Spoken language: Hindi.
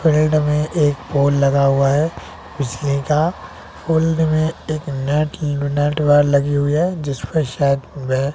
पेड़ में एक बोर्ड लगा हुआ है पिछले का फोल्डर में एक नेट नेट वॉल लगी हुई है जिस पे शायद